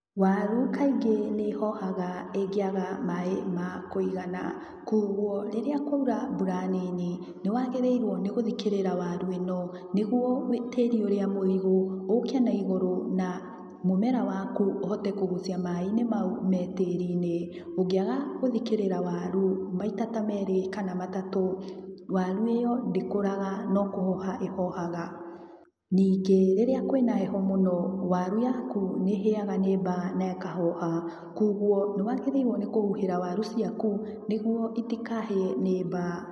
Waru kaingĩ nĩihohaga ĩngĩaga maĩ ma kũigana koguo rĩrĩa kwaura mbura nini nĩwagĩrĩirwo nĩ gũthikĩrĩra waru ĩno nĩguo tĩri ũrĩa mũigũ ũke na igũrũ na mũmera waku ũhote kũgucia maĩ mau me tĩrinĩ. Ũngĩaga gũthikĩrĩra waru maita ta merĩ kana matatũ wari ĩyo ndĩkũraga no kũhoha ĩhohaga. Ningĩ rĩrĩa kwĩna heho mũno waru yaku nĩihĩaga nĩ mba na ĩkahoha. Koguo nĩwagĩrĩirwo nĩ kũhuhira waru ciaku nĩguo itikahĩe nĩ mba.